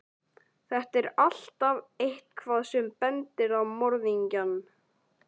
Þar er alltaf EITTHVAÐ sem bendir á morðingjann.